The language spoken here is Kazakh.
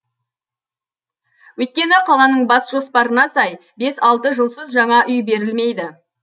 өйткені қаланың бас жоспарына сай бес алты жылсыз жаңа үй берілмейді